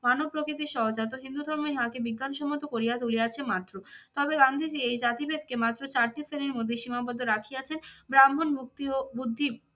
মানব প্রকৃতির সহজাত হিন্দু ধর্ম ইহাকে বিজ্ঞানসম্মত করিয়া তুলিয়াছে মাত্র। তবে গান্ধীজী এই জাতিভেদকে মাত্র চারটি শ্রেণীর মধ্যে সীমাবদ্ধ রাখিয়াছেন ব্রাহ্মণ মুক্তি ও বুদ্ধি